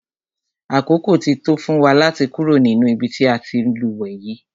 Àkókò ti tó fún wa láti kúrò nínú ibi tí a ti ń lúwẹ̀ẹ́ yìí.